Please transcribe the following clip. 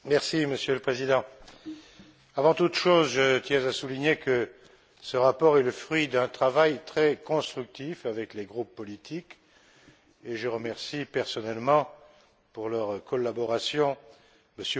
Monsieur le Président, avant toute chose, je tiens à souligner que ce rapport est le fruit d'un travail très constructif avec les groupes politiques et je remercie personnellement, pour leur collaboration, M.